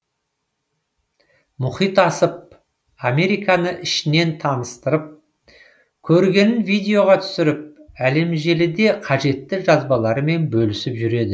мұхит асып американы ішінен таныстырып көргенін видеоға түсіріп әлемжеліде қажетті жазбаларымен бөлісіп жүреді